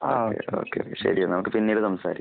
ആഹ്. Okay. ശരി എന്നാൽ. നമുക്ക് പിന്നീട് സംസാരിക്കാം.